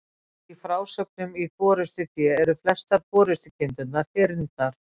Í frásögnum í Forystufé eru flestar forystukindurnar hyrndar.